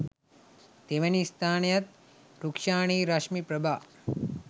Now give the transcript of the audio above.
තෙවැනි ස්‌ථානයත් රුක්‌ෂානි රශ්මි ප්‍රභා